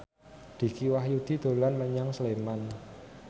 Dicky Wahyudi dolan menyang Sleman